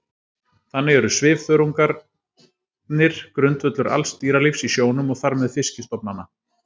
Þannig eru svifþörungarnir grundvöllur alls dýralífs í sjónum og þar með fiskistofnanna.